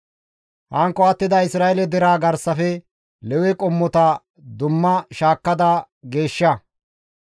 «Hankko attida Isra7eele deraa garsafe Lewe qommota dumma shaakkada geeshsha.